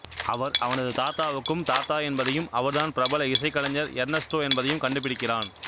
அவர் அவனது தாத்தாவுக்கும் தாத்தா என்பதையும் அவர்தான் பிரபல இசைக்கலைஞர் எர்னஸ்டோ என்பதையும் கண்டுபிடிக்கிறான்